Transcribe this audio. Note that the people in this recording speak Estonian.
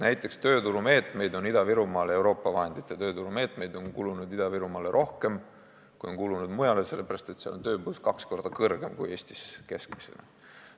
Näiteks on Euroopa vahenditest rahastatud tööturumeetmeid Ida-Virumaal rohkem kui mujal, sest seal on tööpuudus kaks korda kõrgem kui Eestis keskmiselt.